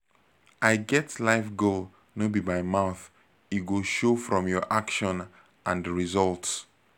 i get life goal no be by mouth e go show from your action and result